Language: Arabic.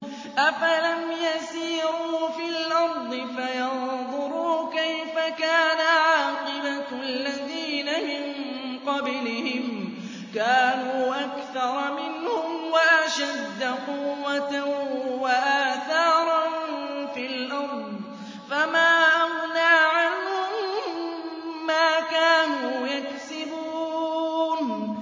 أَفَلَمْ يَسِيرُوا فِي الْأَرْضِ فَيَنظُرُوا كَيْفَ كَانَ عَاقِبَةُ الَّذِينَ مِن قَبْلِهِمْ ۚ كَانُوا أَكْثَرَ مِنْهُمْ وَأَشَدَّ قُوَّةً وَآثَارًا فِي الْأَرْضِ فَمَا أَغْنَىٰ عَنْهُم مَّا كَانُوا يَكْسِبُونَ